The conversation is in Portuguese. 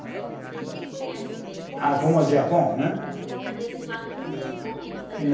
Como era, que a gente não conhece bem como. Ah, como o Japão, né? As brincadeiras de lá devem ser diferentes.